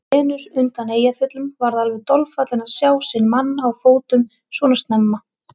Venus undan Eyjafjöllum varð alveg dolfallin að sjá sinn mann á fótum svona snemma.